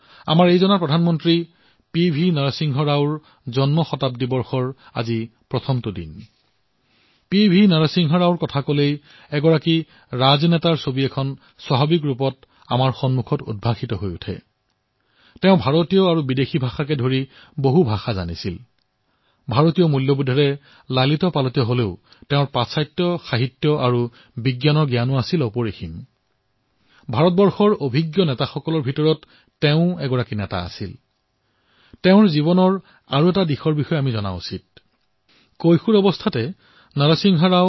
তেওঁ হল প্ৰধানমন্ত্ৰী শ্ৰী পি ভি নৰসিংহ ৰাও